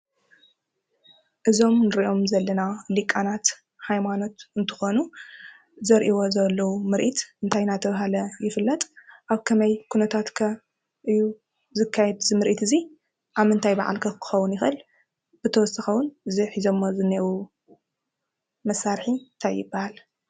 እዞም እንሪኦም ዘለና ሊቃናት ሃይማኖት እንትኾኑ ዘርእይዎ ዘለዉ ምርኢት እንታይ እንዳተባሃለ ይፍለጥ? ኣብ ከመይ ኩነታት ከ እዩ ዝካየድ እዚ ምርኢት እዚ? ኣብ ምንታይ በዓል ከ ክከውን ይክእል? ብተወሳኪ እዉን እዚ ሒዘሞ ዘኒኤው መሳርሒ እንታይ ይባሃል?